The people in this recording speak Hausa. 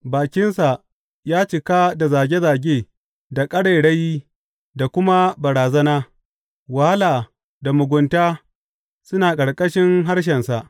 Bakinsa ya cika da zage zage da ƙarairayi da kuma barazana; wahala da mugunta suna a ƙarƙashin harshensa.